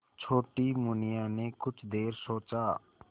छोटी मुनिया ने कुछ देर सोचा